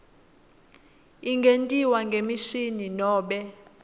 ingentiwa ngemishini nobe